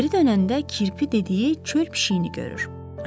Geri dönəndə kirpi dediyi çöl pişiyini görür.